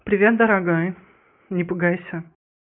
привет дорогая не пугайся